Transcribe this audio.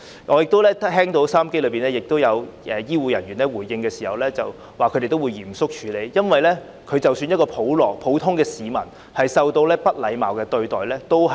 我亦聽到有醫護人員回應時表示他們會嚴肅處理，因為即使是普通市民也不應受到不禮貌對待。